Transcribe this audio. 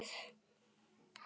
Dekur væri rétta orðið.